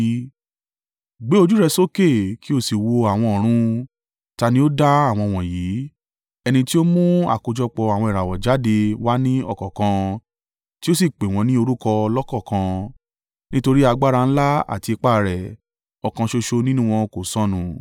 Gbé ojú rẹ sókè kí o sì wo àwọn ọ̀run. Ta ni ó dá àwọn wọ̀nyí? Ẹni tí ó mú àkójọpọ̀ àwọn ìràwọ̀ jáde wá ní ọ̀kọ̀ọ̀kan tí ó sì pè wọ́n ní orúkọ lọ́kọ̀ọ̀kan. Nítorí agbára ńlá àti ipá rẹ̀, ọ̀kan ṣoṣo nínú wọn kò sọnù.